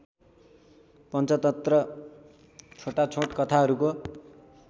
पञ्चतन्त्र छोटाछोटा कथाहरूको